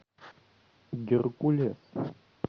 геркулес